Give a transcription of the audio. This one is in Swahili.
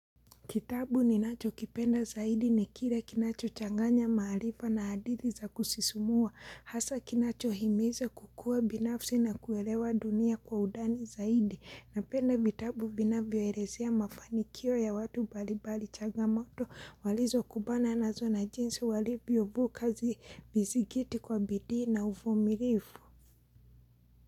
Kitabu ni nacho kipenda zaidi ni kire kinacho changanya maarifa na hadithi za kusisumua. Hasa kinacho himiza kukua binafsi na kuwelewa dunia kwa undani zaidi. Napenda vitabu vinavyo elezea mafanikio ya watu mbalimbali changamoto walizo kumbana na zona jinsi walivyo vuka kazi vizigiti kwa bidii na uvumilifu.